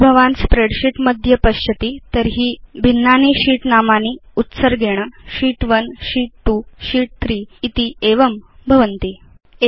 यदि भवान् स्प्रेडशीट् मध्ये पश्यति तर्हि भिन्नानां sheets इत्येषां नामानि उत्सर्गेण शीत् 1 शीत् 2 शीत् 3 तथाविधं च भवन्ति